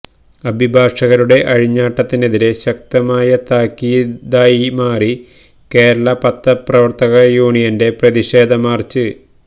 അഭിഭാഷകരുടെ അഴിഞ്ഞാട്ടത്തിനെതിരെ ശക്തമായ താക്കീതായിമാറി കേരള പത്രപ്രവര്ത്തക യൂനിയന്റെ പ്രതിഷേധ മാര്ച്ച്